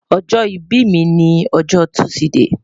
ojo ibi mi ni ojo tuside